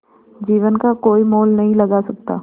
जीवन का कोई मोल नहीं लगा सकता